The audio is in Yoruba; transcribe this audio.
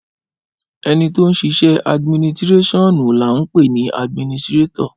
Ẹnitọ sisẹ àdminitirẹsíọnú làhún pẹni àdmínìsitirẹtọ